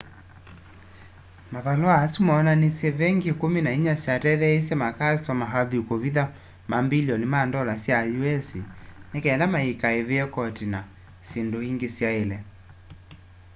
mavalũa asu moonanishe vengi ikũmi na inya syatetheeisye makastoma athui kũvitha mambilioni ma ndola sya us ni kenda maikaive koti na syindũ ingi syaile